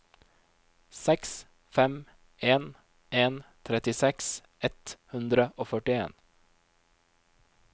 seks fem en en trettiseks ett hundre og førtien